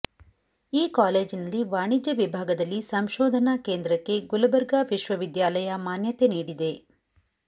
ಈ ಕಾಲೇಜಿನಲ್ಲಿ ವಾಣಿಜ್ಯ ವಿಭಾಗದಲ್ಲಿ ಸಂಶೋಧನಾ ಕೇಂದ್ರಕ್ಕೆ ಗುಲಬರ್ಗಾ ವಿಶ್ವವಿದ್ಯಾಲಯ ಮಾನ್ಯತೆ ನೀಡಿದೆ